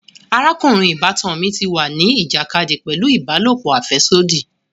Arakunrin ìbátan mí tí wá ni ìjàkadì pẹlu ìbálòpọ̀ afẹsodi